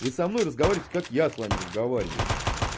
вы со мной разговариваете как я с вами разговариваю